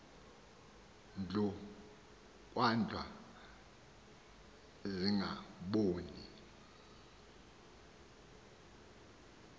ndlu kwahlwa zingaboni